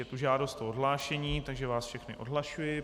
Je tu žádost o odhlášení, takže vás všechny odhlašuji.